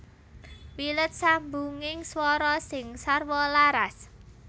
Wilet sambunging swara sing sarwa laras